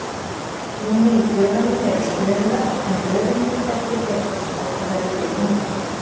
Inni í tölunum eru stöðuvötn, en röðin mundi ekki breytast þótt þau væru tekin út.